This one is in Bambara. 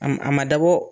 A ma a ma dabɔ